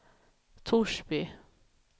Torsby